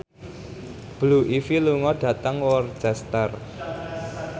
Blue Ivy lunga dhateng Worcester